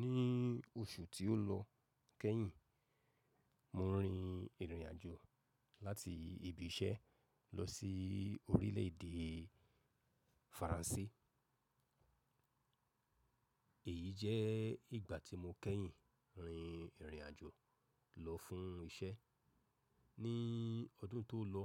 Ní oṣù tí ó lọ kẹ́yìn, mo rin ìrìn àjò láti ibi iṣẹ́ lọ sí orílẹ̀ èdè Faransé. Èyí jẹ́ ìgbà tí mo kẹ́yìn rin ìrìn àjò lọ fún iṣẹ́. Ní ọdún tó lọ,